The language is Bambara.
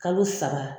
Kalo saba